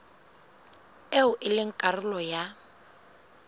eo e leng karolo ya